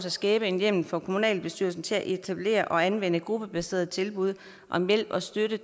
at skabe hjemmel for kommunalbestyrelsen til at etablere og anvende gruppebaserede tilbud om hjælp og støtte